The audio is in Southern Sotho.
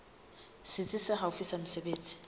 setsi se haufi sa mesebetsi